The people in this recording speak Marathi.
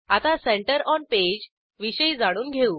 आता सेंटर ओन पेज विषयी जाणून घेऊ